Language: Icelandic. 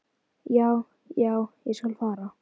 Já, já, ég skal fara.